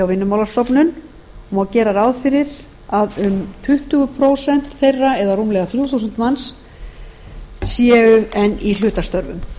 vinnumálastofnun og má gera ráð fyrir að um tuttugu prósent eða rúmlega þrjú þúsund manns séu enn í hlutastörfum